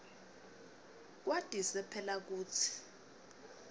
kwatise phela kutsi